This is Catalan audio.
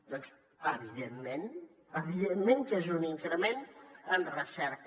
doncs evidentment evidentment que és un increment en recerca